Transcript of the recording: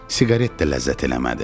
Siqaret də ləzzət eləmədi.